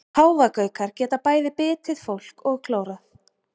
Páfagaukar geta bæði bitið fólk og klórað.